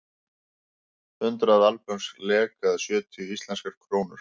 Hundrað albönsk lek eða sjötíu íslenskar krónur.